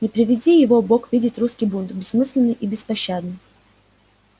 не приведи его бог видеть русский бунт бессмысленный и беспощадный